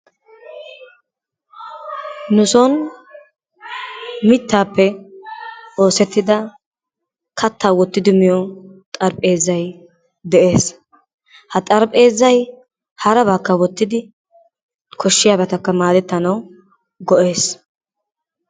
Nusoni mittaappe oosettida kattaa wottidi miyo xarpheezzay de'ees. Ha xarpheezzay harabaakka wottidi koshiyaabatakka maadettanawu go'ees,